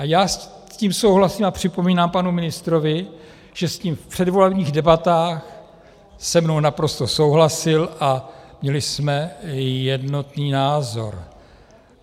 A já s tím souhlasím a připomínám panu ministrovi, že s tím v předvolebních debatách se mnou naprosto souhlasil a měli jsme jednotný názor.